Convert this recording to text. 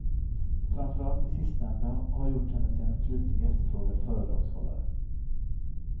Framförallt de sistnämnda har gjort henne till en flitigt efterfrågad föredragshållare.